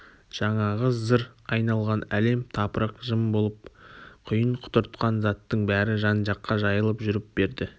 жаңағы зыр айналған әлем-тапырық жым болып құйын құтыртқан заттың бәрі жан-жаққа жайылып жүріп берді